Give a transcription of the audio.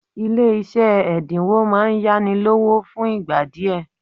Ile ise edinwo maa n yanilowo fun igba die